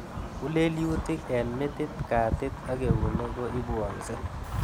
Ng'ulelyutik, eng' metit, katit ak eunek ko ipwanse